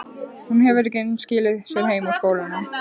Hún hefur ekki enn skilað sér heim úr skólanum.